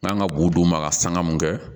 N'an ka bu d'u ma ka sanga mun kɛ